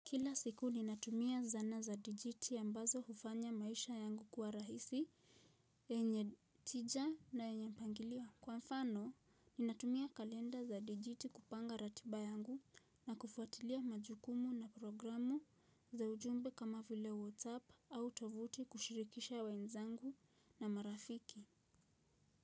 Kila siku ninatumia zana za digiti ambazo hufanya maisha yangu kuwa rahisi, yenye tija na yenye mpangilio. Kwa mfano, ninatumia kalenda za digiti kupanga ratiba yangu na kufuatilia majukumu na programu za ujumbe kama vile WhatsApp au tovuti kushirikisha wenzangu na marafiki.